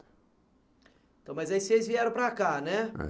Então, mas aí vocês vieram para cá, né? É